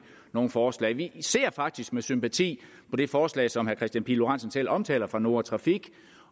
nogle forslag vi ser faktisk med sympati på det forslag som herre kristian pihl lorentzen selv omtaler fra noah trafik